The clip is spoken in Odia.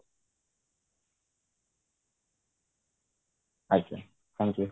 ଆଜ୍ଞା thank you